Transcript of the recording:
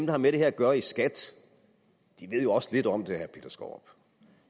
har med det her at gøre i skat ved jo også lidt om det